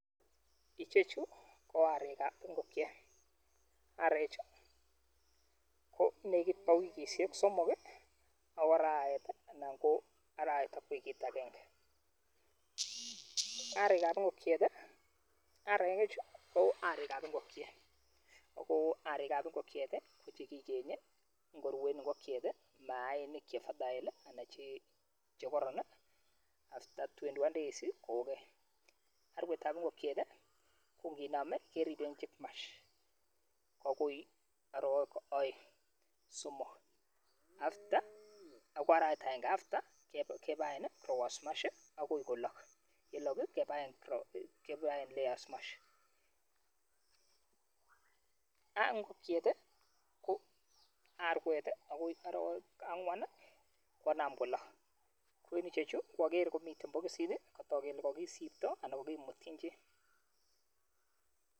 ichechu ko areek ab ingongiet, areechu konegit bo wigisiek somok iih anan ko araweet anan koo araweet ak wigiit agenge. Areek ab ingogiet iih, areechu ko areek ab ingogiet agoo areek ab ingogieet iih ko chegigenyee ngoruen ingogieet iih maainik che fertile anan chegoroon iih after twenty one days iih koogeny, arweet ab ingogiet iih ko nginomee keribeen chick mash agoi aroweek oeng somook agoi araweet agenge after kebaeen iih rowoos mash iih agoi kolook, yelook iih kebaen layers mash arweet ab ingogieet iih ko arweet agoi oroweek angwaan konaam kolook koichechu ogeree komiten bogisiit iih kotook kele kogisiptoo anan kogimutyiin chi